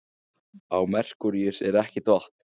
Á Merkúríusi er ekkert vatn.